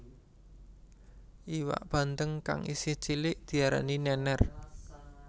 Iwak bandeng kang isih cilik diarani nènèr